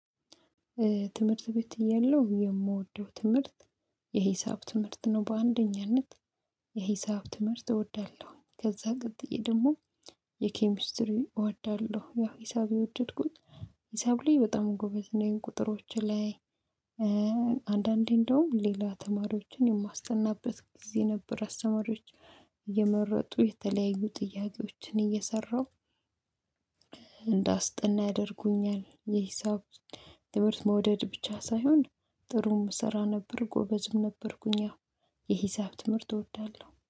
ትምህርት ቤት የለው የምወደው ትምህርት የሂሳብ ትምህርት ነው። በአንደኛነት የሂሳብ ትምህርት እወዳለሁ። ከዛ ቀጥዬ ደግሞ የኬሚስትሪ እወዳለሁ። ያ ሂሳብ የወደድኩኝ ሂሳብ ላይ በጣም ጎበዝ ነኝ። ቁጥሮች ላይ እ አንዳንዴ እንደዉም ሌላ ተማሪዎችን የማስጠናበት ጊዜ ነበር። አስተማሪዎች እየመረጡ የተለያዩ ጥያቄዎችን እየሰራው እንዳስጠና ያደርጉኛል። የ ሂሳብ ትምሀርት መዉደድ ብቻ ሳይሆን ጥሩም እሰራ ነበር ጎበዝም ነበርኩኝ። የሂሳብ ትምህርት እወዳለሁ